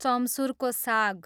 चम्सुरको साग